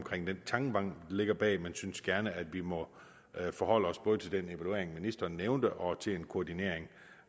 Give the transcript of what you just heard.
den tankegang ligger bag men synes gerne at vi må forholde os både til den evaluering ministeren nævnte og til en koordinering